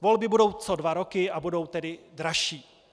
Volby budou co dva roky, a budou tedy dražší.